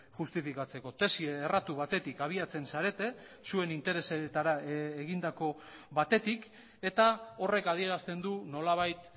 justifikatzeko tesi erratu batetik abiatzen zarete zuen interesetara egindako batetik eta horrek adierazten du nolabait